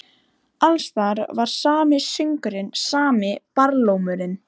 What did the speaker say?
Alls staðar var sami söngurinn, sami barlómurinn.